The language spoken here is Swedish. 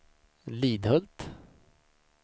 Lidhult